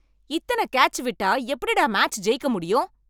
இத்தனை கேட்ச் விட்டா எப்படிடா மேட்ச் ஜெயிக்க முடியும்?